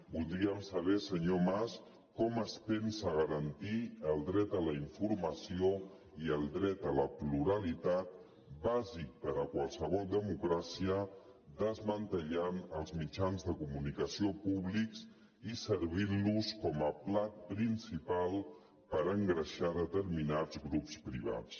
voldríem saber senyor mas com es pensa garantir el dret a la informació i el dret a la pluralitat bàsic per a qualsevol democràcia desmantellant els mitjans de comunicació públics i servint los com a plat principal per engreixar determinats grups privats